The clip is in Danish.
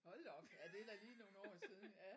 Hold da op ja det da lige nogle år siden ja